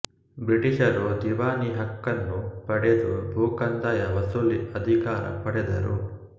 ಬ್ರಿಟಿಷರು ದಿವಾನಿ ಹಕ್ಕನ್ನು ಪಡೆದು ಭೂಕಂದಾಯ ವಸೂಲಿ ಅಧಿಕಾರ ಪಡೆದರು